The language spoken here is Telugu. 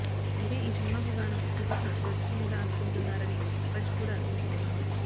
అయితే ఈ సినిమాకు గాను సుజీత్ ను దర్శకునిగా అనుకుంటున్నారని బజ్ కూడా వినిపించింది